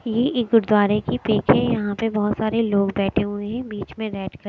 ये एक गुरुद्वारे की पिक है यहां पे बहुत सारे लोग बैठे हुए हैं बीच में बैठ के।